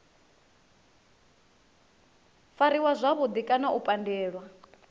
fariwa zwavhudi kana u pandelwa